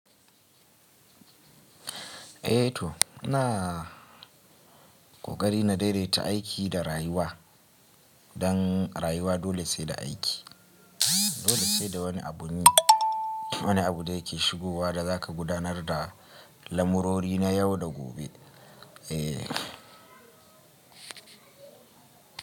Eh to ina ƙoƙari na daidaita aiki da rayuwa don rayuwa dole sai da aiki. Dole sai da wani abun yi, wani abu da yake shigowa da za ka gudanar da lamurori na yau da gobe. Eh.